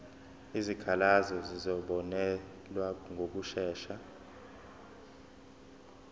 izikhalazo zizobonelelwa ngokushesha